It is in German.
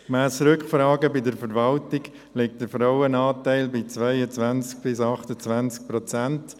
Gemäss Rückfragen bei der Verwaltung liegt der Frauenanteil bei 22–28 Prozent.